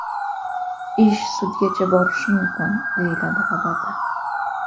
Ish sudgacha borishi mumkin”, deyiladi xabarda.